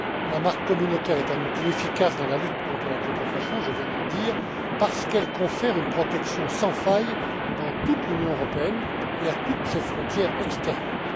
La marque communautaire est un outil efficace dans la lutte contre la contrefaçon, je viens de le dire, parce qu'elle confère une protection sans faille, dans toute l'Union européenne et à toutes ses frontières extérieures.